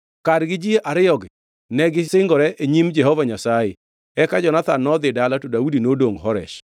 Kargi ji ariyogi negisingore e nyim Jehova Nyasaye. Eka Jonathan nodhi dala to Daudi to nodongʼ Horesh.